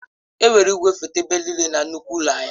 Enwere igwefoto ebe niile na nnukwu ụlọ ahịa.